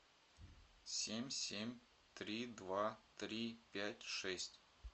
семь семь три два три пять шесть